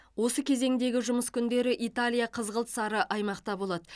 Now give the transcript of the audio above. осы кезеңдегі жұмыс күндері италия қызғылт сары аймақта болады